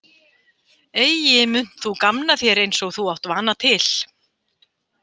Eigi muntu gamna þér eins og þú átt vana til.